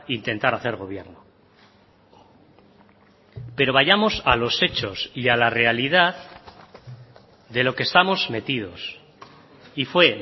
intentar hacer gobierno pero vayamos a los hechos y a la realidad de lo que estamos metidos y fue